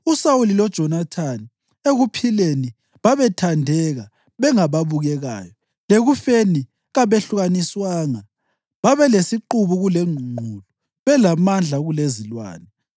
USawuli loJonathani, ekuphileni babethandeka bengababukekayo, lekufeni kabehlukaniswanga. Babelesiqubu kulengqungqulu, belamandla kulezilwane.